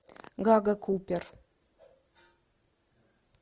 гага купер